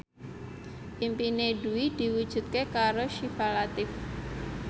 impine Dwi diwujudke karo Syifa Latief